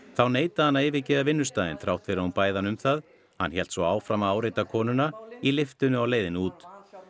þá neitaði hann að yfirgefa vinnustaðinn þrátt fyrir hún bæði hann um það hann hélt svo áfram að áreita konuna í lyftunni á leiðinni út